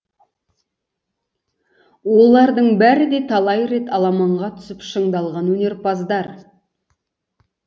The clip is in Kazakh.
олардың бәрі де талай рет аламанға түсіп шыңдалған өнерпаздар